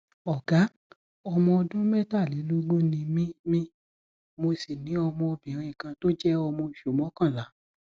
ọgá ọmọ ọdún mẹtàlélógún ni mí mí mo sì ní ọmọbìnrin kan tó jẹ ọmọ oṣù mọkànlá